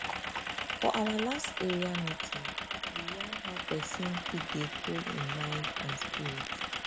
for our last area meeting we yarn how pesin fit dey cool hin mind and spirit